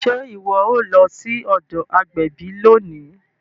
Ṣe iwọ o lọ sí ọdọ agbẹbi lóni?